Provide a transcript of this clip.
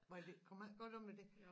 Var det kom jeg ikke godt af med det